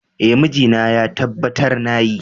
Eh, mijina ya tabbatar na yi.